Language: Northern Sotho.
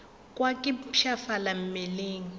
kwa ke mpshafala mmeleng le